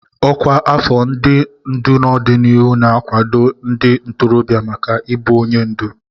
Ọkwa afọ ndị ndu n'ọdịnihu na-akwado ndị ntorobịa maka ịbụ onye ndu.